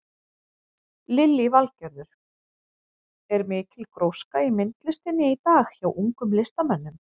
Lillý Valgerður: Er mikil gróska í myndlistinni í dag hjá ungum listamönnum?